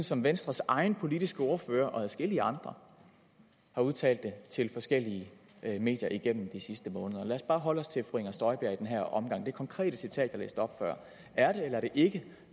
som venstres egen politiske ordfører og adskillige andre har udtalt det til forskellige medier igennem de sidste måneder lad os bare holde os til fru inger støjberg i den her omgang og det konkrete citat jeg læste op før er det eller er det ikke